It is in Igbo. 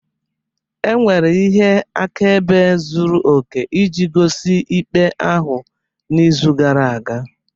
Enwere ihe akaebe zuru oke iji gosi ikpe ahụ n'izu gara aga